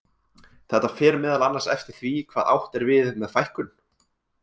Þetta fer meðal annars eftir því hvað átt er við með fækkun.